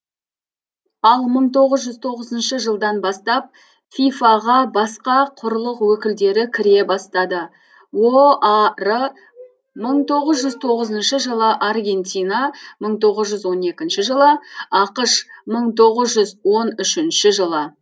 ал мың тоғыз жүз тоғызыншы жылдан бастап фифа ға басқа құрлық өкілдері кіре бастады оар мың тоғыз жүз тоғызыншы жылы аргентина мың тоғыз жүз он екінші жылы ақш мың тоғыз жүз он үшінші жылы